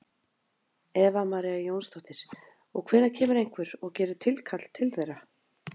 Eva María Jónsdóttir: Og hvenær kemur einhver og gerir tilkall til þeirra?